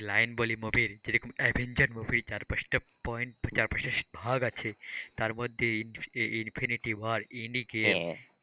line বলি movie র যেরকম অ্যাভেঞ্জার movie চার পাঁচটা point চার পাঁচটা ভাগ আছে তার মধ্যে ইনফিনিটি ওয়ার, এন্ডগেম,